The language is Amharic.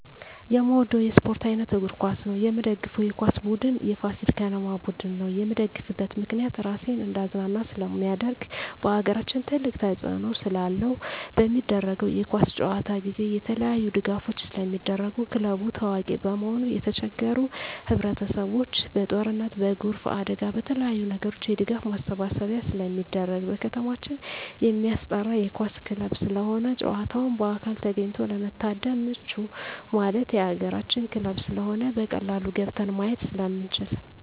የምወደው የስፓርት አይነት እግር ኳስ ነው። የምደግፈው የኳስ ቡድን የፋሲል ከነማ ቡድን ነው። የምደግፍበት ምክንያት ራሴን እንዳዝናና ስለማደርግ በአገራችን ትልቅ ተፅዕኖ ስላለው። በሚደረገው የኳስ ጨዋታ ጊዜ የተለያዪ ድጋፎች ስለሚደረጉ ክለቡ ታዋቂ በመሆኑ የተቸገሩ ህብረቸሰብ በጦርነት በጎርፍ አደጋ በተለያዪ ነገሮች የድጋፍ ማሰባሰቢያ ስለሚደረግ። በከተማችን የማስጠራ የኳስ ክለብ ስለሆነ ጨዋታውን በአካል ተገኝቶ ለመታደም ምቹ ማለት የአገራችን ክለብ ስለሆነ በቀላሉ ገብተን ማየት ስለምንችል።